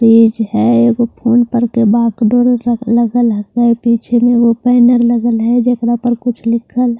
तेज है एक वो फोन पर के बाग डोर ल लगा रखा है पीछे में वो पैनल लगा ला है जखरा पर कुछ लिखा ला है।